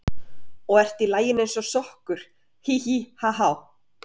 Og ert í laginu eins og sokkur, hí, hí, ha, há.